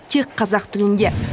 тек қазақ тілінде